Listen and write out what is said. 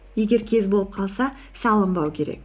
егер кез болып қалса салынбау керек